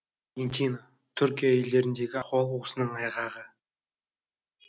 түркия елдеріндегі ахуал осының айғағы